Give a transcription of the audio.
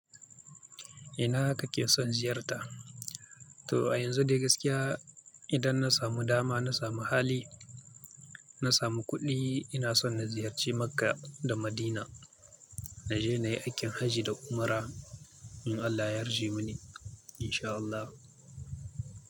Ina kake son ziyarta? To a yanzu dai gaskiya idan na samu dama, na samu hali, na samu kuɗi ina son na ziyarci Makkah da Madina. Na je na yi aikin hajji da umra in Allah ya yarje mani insha Allah.